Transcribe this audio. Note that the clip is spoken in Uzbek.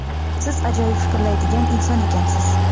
siz ajoyib fikrlaydigan inson ekansiz.